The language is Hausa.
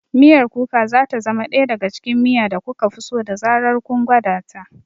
Miyar Kuka za ta zama ɗaya daga cikin miya da kuka fi so da zarar kun gwada ta.